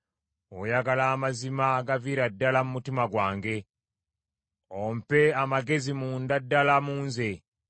Oyagala amazima agaviira ddala mu mutima gwange. Ompe amagezi munda ddala mu nze.